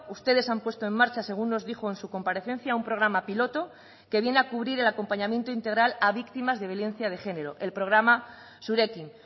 ustedes han puesto en marcha según nos dijo en su comparecencia un programa piloto que viene a cubrir el acompañamiento integral a víctimas de violencia de género el programa zurekin